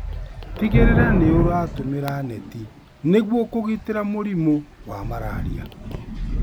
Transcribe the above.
Tigĩrĩra nĩũratũmĩra neti nĩguo kũĩgitĩra mũrimũ wa malaria.